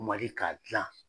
Mali k'a dilan